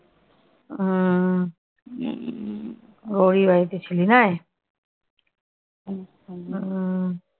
ওহ উম গৌরির বাড়িতে ছিলিস নয়? উম